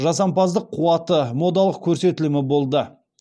жасампаздық қуаты модалық көрсетілімі болды